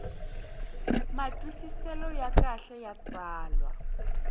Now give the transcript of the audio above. matwisiselo ya kahle ya tsalwa